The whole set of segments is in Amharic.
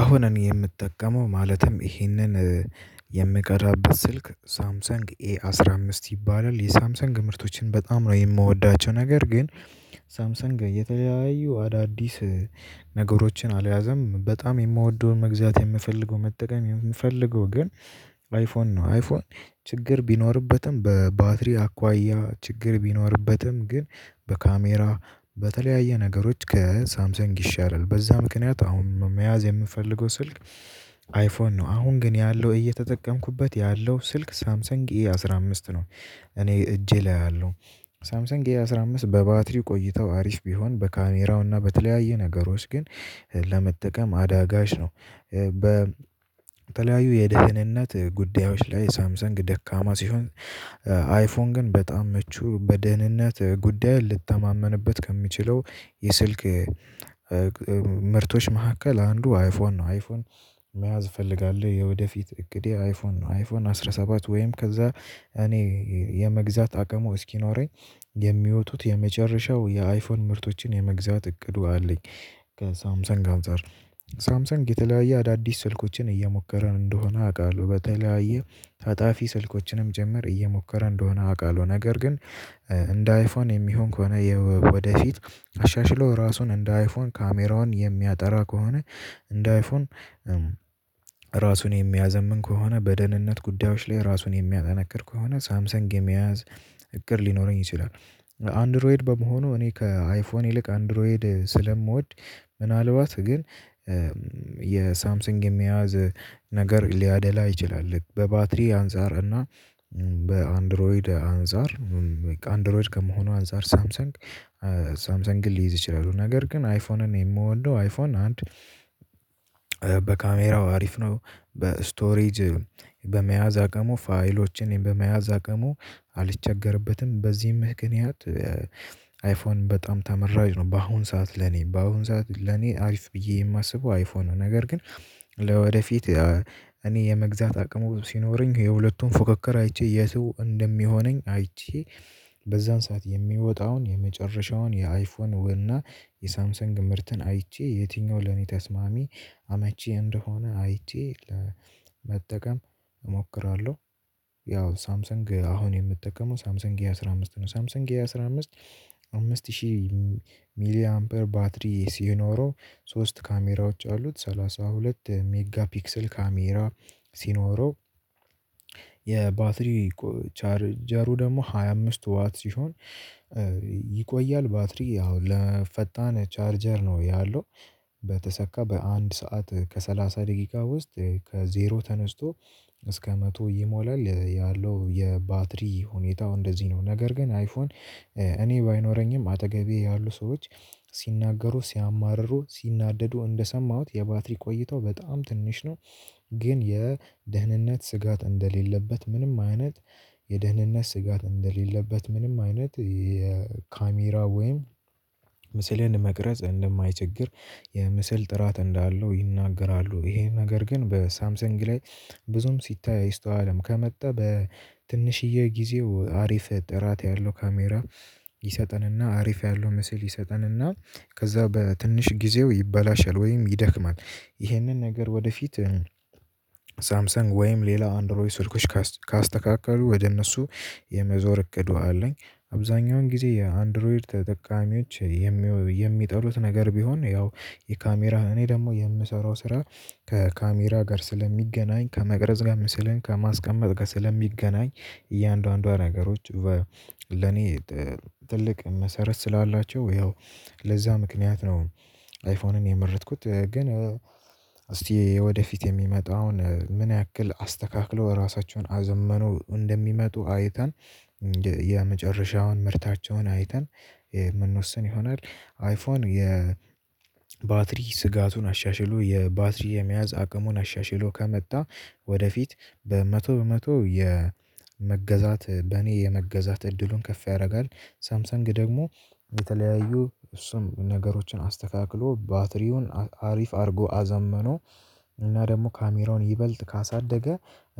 አሁን እኔ የምጠቀመው ማለትም ይህንን የምቀራበት ስልክ ሳምሰንግ ኤ አስራ አምስት ይባላል የሳምሰንግ ምርቶችን በጣም ነው የምወዳቸው ነገር ግን። ሳምሰንግ እየተለያዩ አዳዲስ ነገሮችን አልያዘም። በጣም የምወደውን መግዛት የምፈልገው መጠቀም የምፈልገው ግን። አይፎን ነው አይፎን ችግር ቢኖርበትም በባትሪ አኳያ ችግር ቢኖርበትም ግን በካሜራ በተለያየ ነገሮች ከሳምሰንግ ይሻላል በዛ ምክንያት አሁን መያዝ የምፈልገው ስልክ አይፎን ነው። አሁን ግን ያለው እየተጠቀምኩበት ያለው ስልክ ሳምሰንግ ኢ አስራ አምስት ነው። እኔ እጄ ላይ አለው። ሳምሰንግ ኤ አስራ አምስት በባትሪው ቆይተው አሪፍ ቢሆንም በካሜራውና በተለያዩ ነገሮች ግን ለመጠቀም አዳጋች ነው። በተለያዩ የደህንነት ጉዳዮች ላይ ሳምሰንግ ደካማ ሲሆን። አይፎን ግን በጣም ምቹ በደህንነት ጉዳይ ልተማመንበት ከሚችለው የስልክ ምርቶች መካከል አንዱ አይፎን ነው። አይፎን መያዝ እፈልጋለሁ የወደፊት እቅዴ አይፎን ነው አይፎን አስራ ሰባት ወይም ከዛ እኔ የመግዛት አቅሙ እስኪኖረኝ የሚወጡት የመጨረሻው የአይፎን ምርቶችን የመግዛት እቅዱ አለኝ። ከሳምሰንግ ከሳምሰንግ አንፃር ሳምሰንግ የተለያየ አዳዲስ ስልኮችን እየሞከረ እንደሆነ አውቃለሁ በተለያየ ታጣፊ ስልኮችንም ጭምር እየሞከረ እንደሆነ አውቃለሁ። ነገር ግን እንደ አይፎን የሚሆን ከሆነ ወደፊት አሻሽሎ ራሱን እንደ አይፎን ካሜራውን የሚያጠራ ከሆነ እንደ አይፎን ራሱን የሚያዘምን ከሆነ በደህንነት ጉዳዮች ላይ ራሱን የሚያጠነክር ከሆነ ሳምሰንግ የመያዝ እቅድ ሊኖረኝ ይችላል። አንድሮይድ በመሆኑ እኔ ከአይፎን ይልቅ አንድሮይድ ስለምወድ ምናልባት ግን የሳምሲንግ የሚያዝ ነገር ሊያደላ ይችላል። ልክ በባትሪ አንፃር እና በአንድሮይድ አንፃር አንድሮይድ ከመሆኑ አንፃር ሳምሰንግ ሳምሰንግን ልይዝ እችላለሁ። ነገር ግን አይፎንን የምወደው አይፎን አንድ በካሜራው አሪፍ ነው። በእስቶሬጅ በመያዝ አቅሙ ፋይሎችን በመያዝ አቅሙ አልቸገርበትም በዚህም ምክንያት። አይፎን በጣም ተመራጭ ነው። በአሁን ሰዓት ለኔ በአሁን ሰዓት ለኔ አሪፍ ብዬ የማስበው አይፎ ነው። ነገር ግን ለወደፊት እኔ የመግዛት አቅሙ ሲኖረኝ የሁለቱን ፉክክር አይቼ የቱ እንደሚሆነኝ አይቼ በዛን ሰዓት የሚወጣውን የመጨረሻውን የአይፎንና የሳምሰንግ ምርትን አይቼ የትኛው ለኔ ተስማሚ አመቺ እንደሆነ አይቼ ለመጠቀም እሞክራለሁ። ያው ሳምሰንግ አሁን የምጠቀመው ሳምሰንግ የአሥራ አምስት ነው። ሳምሰንግ የአሥራ አምስት አምስት ሺህ ሚሊየን በር ባትሪ ሲኖረው ሶስት ካሜራዎች አሉት ሰላሳ ሁለት ሜጋ ፒክሰል ካሜራ። ሲኖረው የባትሪ ቻርጀሩ ደግሞ ሃያ አምስት ዋት ሲሆን። ይቆያል ባትሪ ያው ለፈጣን ቻርጀር ነው ያለው በተሰካ በአንድ ሰዓት ከሰላሳ ደቂቃ ውስጥ ከዜሮ ተነስቶ እስከ መቶ ይሞላል ያለው የባትሪ ሁኔታው እንደዚህ ነው። ነገር ግን አይፎን እኔ ባይኖረኝም አጠገቤ ያሉ ሰዎች ሲናገሩ ሲያማርሩ ሲናደዱ እንደሰማሁት የባትሪ ቆይታው በጣም ትንሽ ነው። ግን የደህንነት ስጋት እንደሌለበት ምንም አይነት የደህንነት ስጋት እንደሌለበት ምንም አይነት የካሜራ ወይም ምስልን መቅረጽ እንደማይቸግር የምስል ጥራት እንዳለው ይናገራሉ። ይሄ ነገር ግን በሳምሰንግ ላይ ብዙም ሲታይ አይስተዋልም ከመጣ በትንሽዬ ጊዜው አሪፍ ጥራት ያለው ካሜራ ይሰጠንና አሪፍ ያለው ምስል ይሰጠንና ከዛ በትንሽ ጊዜው ይበላሻል ወይም ይደክማል። ይህንን ነገር ወደፊት ሳምሰን ወይም ሌላ አንድሮይ ስልኮች ካስተካከሉ ወደ እነሱ የመዞር እቅዱ አለኝ። አብዛኛውን ጊዜ የአንድሮይ ተጠቃሚዎች የሚጠሉት ነገር ቢሆን ያው የካሜራ እኔ ደግሞ የምሰራው ስራ ከካሜራ ጋር ስለሚገናኝ ከመቅረዝ ጋር ምስልን ከማስቀመጥ ጋር ስለሚገናኝ እያንዳንዷ ነገሮች ለኔ ትልቅ መሰረት ስላላቸው ያው ለዛ ምክንያት ነው። አይፎንን የመረጥኩት ግን እስቲ ወደፊት የሚመጣውን ምን ያክል አስተካክለው ራሳቸውን አዘምነው እንደሚመጡ አይተን የመጨረሻውን ምርታቸውን አይተን የምንወስን ይሆናል። አይፎን የባትሪ ስጋቱን አሻሽሎ የባትሪ የመያዝ አቅሙን አሻሽሎ ከመጣ ወደፊት በመቶ በመቶ የመገዛት በኔ የመገዛት እድሉን ከፍ ያደርጋል። ሳምሰንግ ደግሞ የተለያዩ እሱም ነገሮችን አስተካክሎ ባትሪውን አሪፍ አድርጎ አዘምኖ እና ደግሞ ካሜራውን ይበልጥ ካሳደገ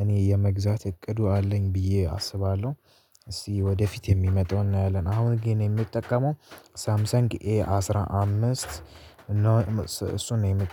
እኔ የመግዛት እቅዱ አለኝ ብዬ አስባለሁ። እስቲ ወደፊት የሚመጣውን አለን አሁን ግን የሚጠቀመው ሳምሰንግ ኤ አስራ አምስት እሱን ነው የሚጠቀመው